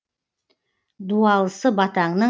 дуалысы батаңның